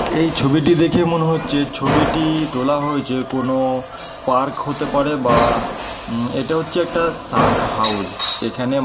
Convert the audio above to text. এই ছবিটি দেখে মনে হচ্ছে ছবিটি-ই তোলা হয়েছে কোন পার্ক হতে পারে বা উম এটা হচ্ছে একটা সার্ক হাউস এখানে--